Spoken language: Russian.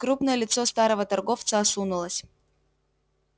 крупное лицо старого торговца осунулось